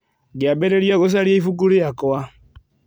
Ngĩambĩrĩria gũcaria ibuku rĩakwa.